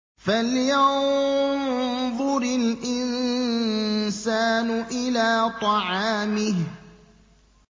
فَلْيَنظُرِ الْإِنسَانُ إِلَىٰ طَعَامِهِ